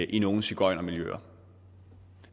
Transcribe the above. i nogle sigøjnermiljøer